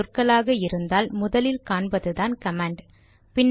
பல சொற்களாக இருந்தால் முதலில் காண்பதுதான் கமாண்ட்